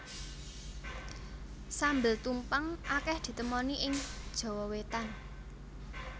Sambel tumpang akeh ditemoni ing Jawa Wétan